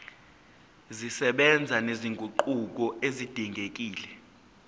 zisebenza nezinguquko ezidingekile